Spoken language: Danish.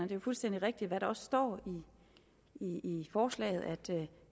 jo fuldstændig rigtigt hvad der også står i i forslaget at det